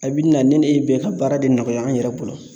A bi na ni ne ye bɛɛ ka baara de nɔgɔya an yɛrɛ bolo